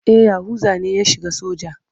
E, Yahuza ne ya shiga soja.